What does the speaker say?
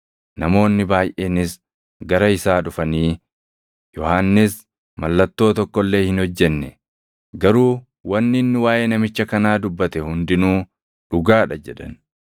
Namoonni baayʼeenis gara isaa dhufanii, “Yohannis mallattoo tokko illee hin hojjenne; garuu wanni inni waaʼee namicha kanaa dubbate hundinuu dhugaa dha” jedhan.